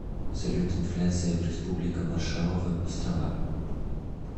салют инфляция в республика маршалловы острова